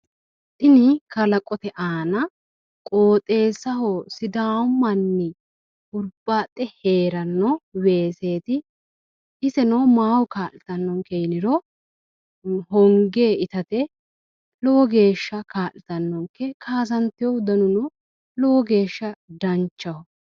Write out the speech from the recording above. Tini kalaqote aana qooxeessaho sidaamu manni hurbaaxxe heeranno weseeti iseno maaho kaa'litannonke yiniro honge itate lowo geeshsha kaa'litannonke kaasanteyo garino lowo geeshsha danchaho.